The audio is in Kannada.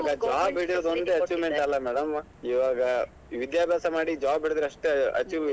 ಇವಾಗ್ job ಹಿಡಿಯೋದ್ ಒಂದೇ achievement ಅಲ್ಲ madam ಇವಾಗ ವಿದ್ಯಾಭ್ಯಾಸ ಮಾಡಿ job ಹಿಡದ್ರೆ ಅಷ್ಟೇ achieve